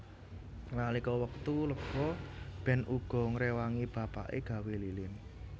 Nalika wektu lega Ben uga ngrewangi bapake gawé lilin